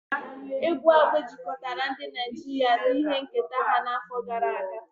Egwu Agbe jikọtara ndị Naijiria na ihe nketa ha afọ gara aga.